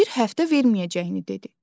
Bir həftə verməyəcəyini dedi.